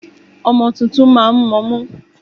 Ọmọ tuntun máa ń mọmú.